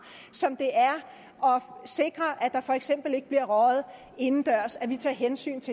som det er at sikre at der for eksempel ikke bliver røget indendørs at vi tager hensyn